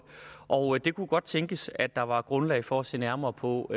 og det kunne godt tænkes at der var grundlag for at se nærmere på